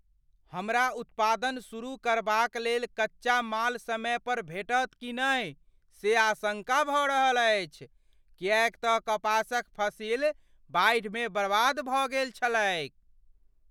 हमरा उत्पादन शुरू करबाक लेल कच्चा माल समय पर भेटत कि नहि से आशङ्का भऽ रहल अछि, किएक तँ कपासक फसिल बाढ़िमे बर्बाद भऽ गेल छलैक।